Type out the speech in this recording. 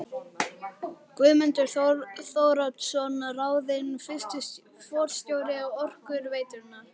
Guðmundur Þóroddsson ráðinn fyrsti forstjóri Orkuveitunnar.